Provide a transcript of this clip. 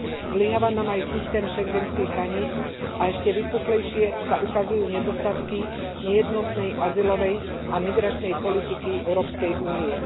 Zlyháva nám aj systém schengenských hraníc a ešte vypuklejšie sa ukazujú nedostatky nejednotnej azylovej a migračnej politiky Európskej únie.